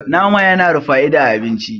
nama yana da fa'ida a abinci